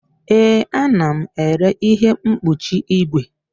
Ee, ana m ere ihe mkpuchi igwe.